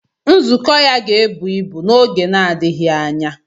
Nzukọ ya ga-ebu ibu n'oge na-adịghị anya.